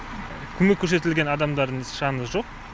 көмек көрсетілген адамдардың саны жоқ